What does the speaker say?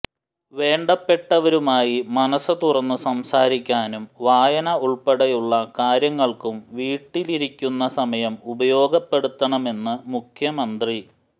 വേണ്ടപ്പെട്ടവരുമായി മനസ് തുറന്ന് സംസാരിക്കാനും വായന ഉൾപ്പടെയുള്ള കാര്യങ്ങൾക്കും വീട്ടിലിരിക്കുന്ന സമയം ഉപയോഗപ്പെടുത്തണമെന്ന് മുഖ്യമന്ത്രി